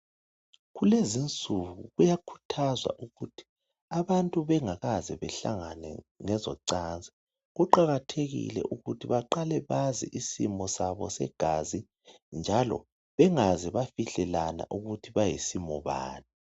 Kulezinsuku kuyakhuthazwa ukuthi abantu bengakaze behlangane ngezocansi kuqakathekile ukuthi baqale bazi simo sabo segazi njalo bengaze bafihlelana ukuthi bayisimo bani